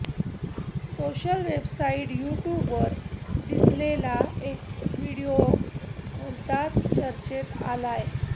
social website यूट्यूबवर दिसलेला एक व्हिडिओ भलताच चर्चेत आलाय